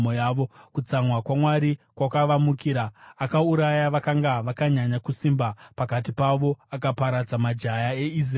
kutsamwa kwaMwari kwakavamukira; akauraya vakanga vakanyanya kusimba pakati pavo, akaparadza majaya eIsraeri.